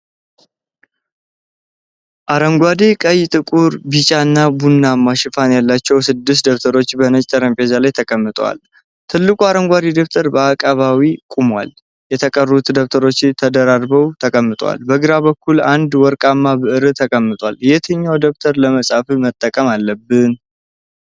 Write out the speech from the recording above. አረንጓዴ፣ ቀይ፣ ጥቁር፣ ቢጫና ቡናማ ሽፋኖች ያሏቸው ስድስት ደብተሮች በነጭ ጠረጴዛ ላይ ተቀምጠዋል። ትልቁ አረንጓዴ ደብተር በአቀባዊ ቆሟል። የተቀሩት ደብተሮች ተደራርበው ተቀምጠዋል። በግራ በኩል አንድ ወርቃማ ብዕር ተቀምጧል። የትኛውን ደብተር ለመጻፍ መጠቀም አለብን?